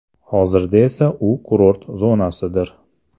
Hozirda esa u kurort zonasidir.